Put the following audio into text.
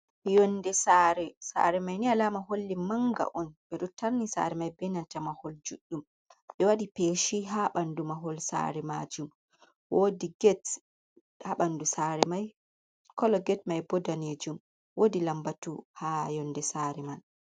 yonnde sare mai ni alama holli manga on be ruttarni sare mai benanta mahol juddum ɓe wadi peshi ha bandu mahol sare majum bandu kolo get mai boddane jum wodi lambatu ha yonde sare man.